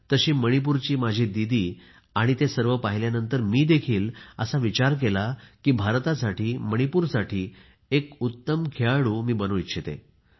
जशी मणिपूरची माझी दीदी आणि ते सर्व पाहिल्यानंतर मी देखील असा विचार केला की भारतासाठी मणिपूरसाठी एक उत्तम खेळाडू बनू इच्छिते